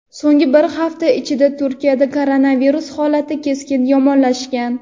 So‘nggi bir hafta ichida Turkiyada koronavirus holati keskin yomonlashgan.